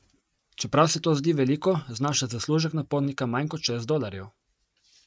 Čeprav se to zdi veliko, znaša zaslužek na potnika manj kot šest dolarjev.